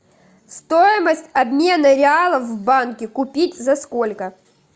стоимость обмена реалов в банке купить за сколько